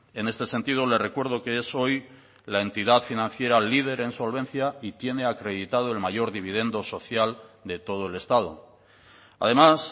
en este sentido le recuerdo que es hoy la entidad financiera líder en solvencia y tiene acreditado el mayor dividendo social de todo el estado además